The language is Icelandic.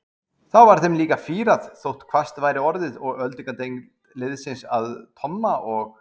Þá var þeim líka fýrað þótt hvasst væri orðið og öldungadeild liðsins að Tomma og